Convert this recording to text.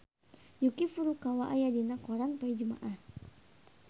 Yuki Furukawa aya dina koran poe Jumaah